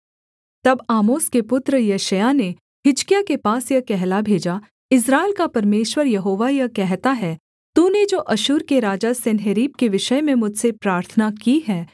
तब आमोस के पुत्र यशायाह ने हिजकिय्याह के पास यह कहला भेजा इस्राएल का परमेश्वर यहोवा यह कहता है तूने जो अश्शूर के राजा सन्हेरीब के विषय में मुझसे प्रार्थना की है